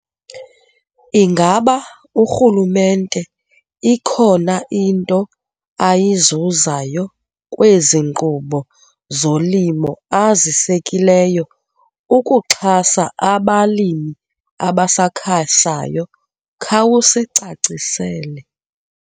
Ingaba urhulumente ikhona into ayizuzayo kwezi nqubo zolimo azisekileyo ukuxhasa abalimi abasakhasayo? Khawusicacisele.